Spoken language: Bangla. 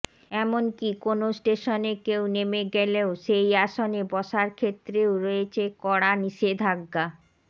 এমনকি কোনও স্টেশনে কেউ নেমে গেলেও সেই আসনে বসার ক্ষেত্রেও রয়েছে কড়া নিষেধাজ্ঞা